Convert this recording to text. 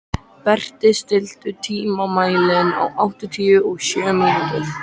Berti, stilltu tímamælinn á áttatíu og sjö mínútur.